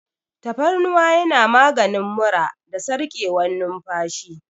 Tafarnuwa yana maganin mura da sarƙewar numfashi.